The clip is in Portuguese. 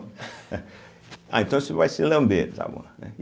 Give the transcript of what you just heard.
Ah, então você vai ser lambeiro, tá bom, né.